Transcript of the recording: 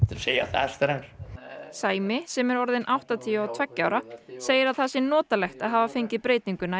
segja það strax sæmi sem er orðinn áttatíu og tveggja ára segir að það sé notalegt að hafa fengið breytinguna í